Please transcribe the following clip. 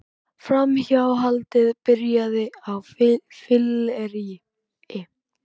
Framhjáhaldið byrjaði á fylleríi